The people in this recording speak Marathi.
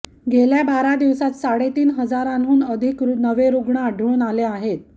गेल्या बारा दिवसांत साडेतीन हजारांहून अधिक नवे रुग्ण आढळून आले आहेत